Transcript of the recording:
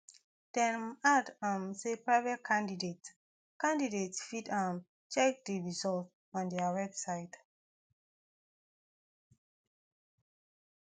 dem add um say private candidates candidates fit um check di result on dia website